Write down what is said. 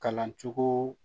Kalan cogo